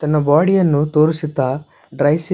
ತನ್ನ ಬಾಡಿಯನ್ನು ತೋರಿಸುತ್ತಾ ಡ್ರೈ ಸಿಪ್ಸ್--